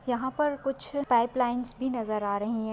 यहाँ पर कुछ पाइप लाइन्स भी नजर आ रही है।